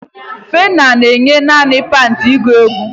Fela na-eyi naanị pantị agụ egwu